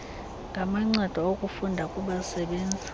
ngamancedo okufunda kubasebenzi